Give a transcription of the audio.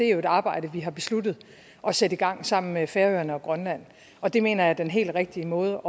jo et arbejde vi har besluttet at sætte i gang sammen med færøerne og grønland og det mener jeg er den helt rigtige måde